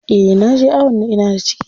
Eh naje awon da ina da ciki.